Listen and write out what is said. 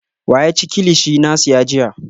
Wa ya ci kilichi na siya jiya?